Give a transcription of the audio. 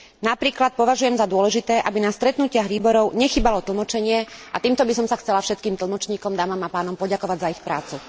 Napríklad považujem za dôležité, aby na stretnutiach výborov nechýbalo tlmočenie, a týmto by som sa chcela všetkým tlmočníkom, dámam a pánom, poďakovať za ich prácu.